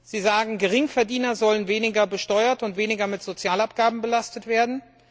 Sie sagen, Geringverdiener sollen weniger besteuert und weniger mit Sozialabgaben belastet werden.